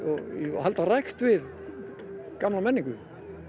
að halda rækt við gamla menningu